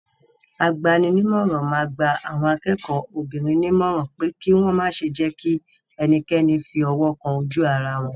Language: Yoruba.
Agbaninímọ̀ràn máa gba àwọn akẹ́kọ̀ọ́ obìnrin nímọ̀ràn pé kí wọ́ ma ṣe jẹ́kí ẹnikẹ́ni fi ọwọ́ kan ojú ara wọn.